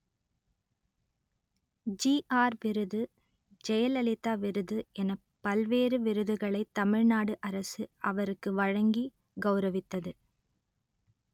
GR விருது ஜெயலலிதா விருது எனப் பல்வேறு விருதுகளை தமிழ் நாடு அரசு அவருக்கு வழங்கி கௌரவித்தது